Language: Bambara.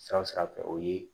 Sira sira fɛ o ye